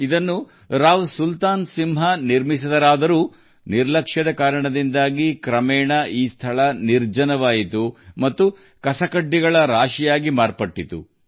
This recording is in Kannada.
ಇದನ್ನು ರಾವ್ ಸುಲ್ತಾನ್ ಸಿಂಗ್ ನಿರ್ಮಿಸಿದ್ದರು ಆದರೆ ನಿರ್ಲಕ್ಷ್ಯದಿಂದಾಗಿ ಈ ಸ್ಥಳವು ಕ್ರಮೇಣ ಕಸದ ರಾಶಿಯಾಗಿ ಮಾರ್ಪಟ್ಟಿತು